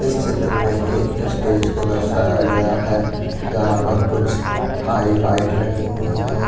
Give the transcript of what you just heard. इस चित्र में एक स्टेज को दर्शाया गया है जहां पर कुछ हाईलाइट लगी हुई है।